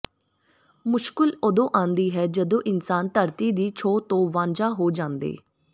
ਮੁਸ਼ਕਲ ਉਦੋਂ ਆਉਂਦੀ ਹੈ ਜਦੋਂ ਇਨਸਾਨ ਧਰਤੀ ਦੀ ਛੋਹ ਤੋਂ ਵਾਂਝਾ ਹੋ ਜਾਂਦੈ